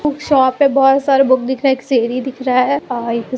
Shop पे बहुत सारे बुक दिख रहा है एक सीढ़ी दिख रहा है।